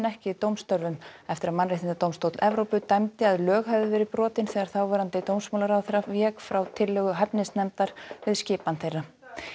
ekki eftir að Mannréttindadómstóll Evrópu dæmdi að lög hefðu verið brotin þegar þáverandi dómsmálaráðherra vék frá tillögu hæfnisnefndar við skipan þeirra